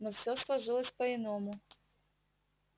но всё сложилось по иному